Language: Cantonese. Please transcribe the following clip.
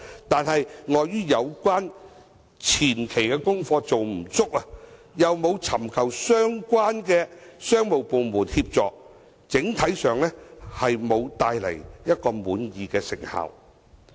但是，礙於有關的前期功課做得不足，又沒有尋求相關商務部門協助，整體上沒有帶來一個令人滿意的成效。